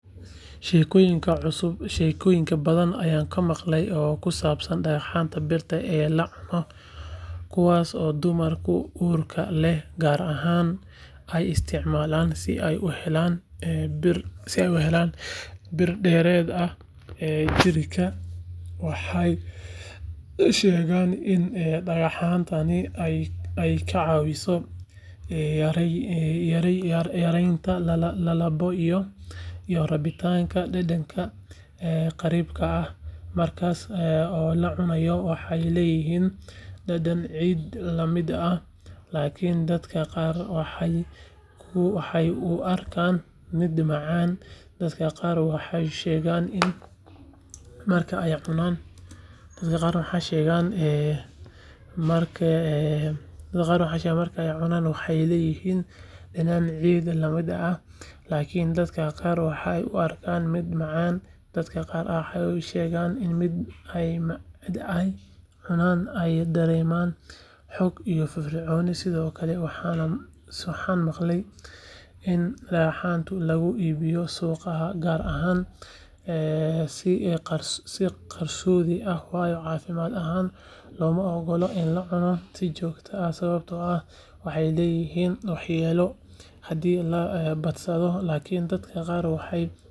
Sheekooyin badan ayaan maqlay oo ku saabsan dhagxanta birta ah ee la cuno kuwaas oo dumarka uurka leh gaar ahaan ay isticmaalaan si ay u helaan bir dheeraad ah jirka waxay sheegaan in dhagxantani ay ka caawiso yareynta lalabbo iyo rabitaanka dhadhanka qariibka ah marka la cunayo waxay leeyihiin dhadhan ciid la mid ah laakiin dadka qaar waxay u arkaan mid macaan dadka qaar waxay sheegeen in marka ay cunaan ay dareemaan xoog iyo firfircooni sidoo kale waxaan maqlay in dhagxantan lagu iibiyo suuqyada qaar si qarsoodi ah waayo caafimaad ahaan looma oggola in la cuno si joogto ah sababtoo ah waxay leedahay waxyeelo haddii la badsado laakiin dadka qaar waxay dhaheen waxay waxtar u leedahay caloosha marka qofka matagayo ama uu dareemayo laab qabow waxaa kaloo jiray haweeney aan aqaanay oo mar walba cunaysay dhagxantan inta ay uurka lahayd iyadoo aaminsan in ilmaheeda ay xoog iyo bir.